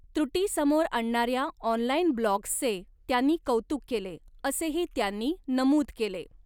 त्रुटी समोर आणणाऱ्या ऑनलाइन ब्लॉग्सचे त्यांनी कौतुक केले, असेही त्यांनी नमूद केले.